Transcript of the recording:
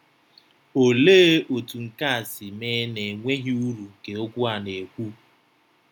Olee otú nke a si mee n’enweghị uru nke okwu a na-ekwu?